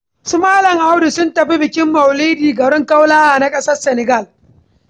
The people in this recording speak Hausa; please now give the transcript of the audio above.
Su Malam Audu sun tafi bikin maulidi garin Kaulaha na ƙasar Senegal.